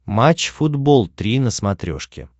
матч футбол три на смотрешке